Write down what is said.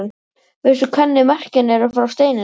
Veistu hvernig merkin eru frá steininum?